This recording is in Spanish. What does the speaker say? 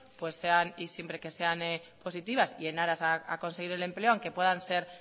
sean y siempre que sean positivas y en aras a conseguir el empleo aunque puedan ser